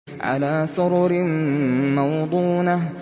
عَلَىٰ سُرُرٍ مَّوْضُونَةٍ